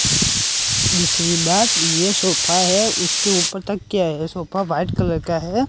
दूसरी बात ये सोफा है उसके ऊपर तकिया है सोफा व्हाईट कलर का है।